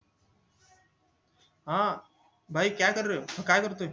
हा काय करतोय